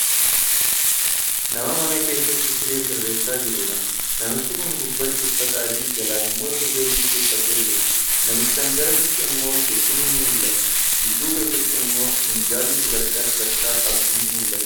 Nama mana keessatti siree sirreessaa jirudha. Namichi Kun gubbaatti uffata adii, jalaan immoo surree jiinsii uffatee jira. Namichaan garasitti immoo teessumni ni mul'ata. Dudduuba isaatti immoo minjaalli sadarkaa sadarkaa qabdu ni mul'atti.